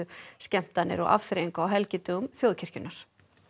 skemmtanir og afþreyingu á helgidögum þjóðkirkjunnar